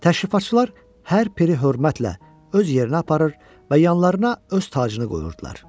Təşrifatçılar hər peri hörmətlə öz yerinə aparır və yanlarına öz tacını qoyurdular.